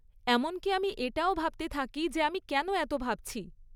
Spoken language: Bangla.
এমনকি আমি এটাও ভাবতে থাকি যে কেন আমি এত ভাবছি।